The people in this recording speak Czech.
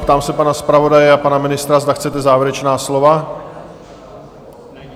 Ptám se pana zpravodaje a pana ministra, zda chtějí závěrečná slova?